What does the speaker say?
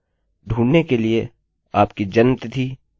नाम के लिए हम अपना surname इस्तेमाल करेंगे